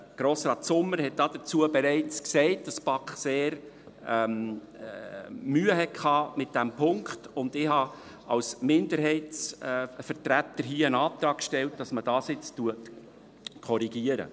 Grossrat Sommer hat dazu bereits gesagt, dass die BaK mit diesem Punkt sehr Mühe gehabt habe, und ich habe als Minderheitsvertreter hier einen Antrag gestellt, dass man dies jetzt korrigiert.